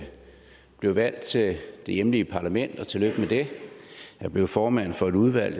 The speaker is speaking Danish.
blevet valgt til det hjemlige parlament og tillykke med det er blevet formand for et udvalg